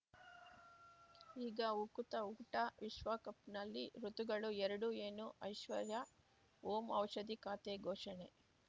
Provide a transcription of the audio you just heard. ಈಗ ಉಕುತ ಊಟ ವಿಶ್ವಕಪ್‌ನಲ್ಲಿ ಋತುಗಳು ಎರಡು ಏನು ಐಶ್ವರ್ಯಾ ಓಂ ಔಷಧಿ ಖಾತೆ ಘೋಷಣೆ